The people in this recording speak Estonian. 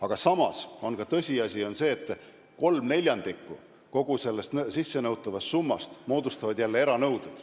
Aga samas on tõsiasi, et kolm neljandikku kogu sellest sissenõutavast summast moodustavad jälle eranõuded.